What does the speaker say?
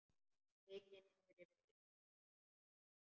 Mikið niðri fyrir.